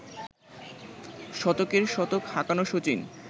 শতকের শতক হাঁকানো শচীন